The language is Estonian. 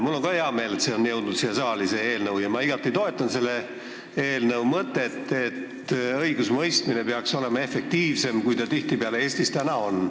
Mul on ka hea meel, et see eelnõu on siia saali jõudnud, ja ma igati toetan selle eelnõu mõtet, et õigusemõistmine peaks olema efektiivsem, kui see praegu Eestis tihtipeale on.